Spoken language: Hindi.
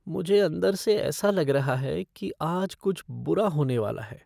मुझे अंदर से ऐसा लग रहा है कि आज कुछ बुरा होने वाला है।